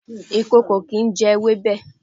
Ìkòkò kìí jẹ ewébẹ̀.